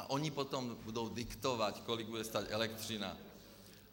A oni potom budou diktovat, kolik bude stát elektřina.